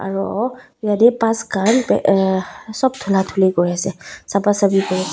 aro yate bus khan uhh sob dhola dhuli kuri ase sapha saphi kuri as--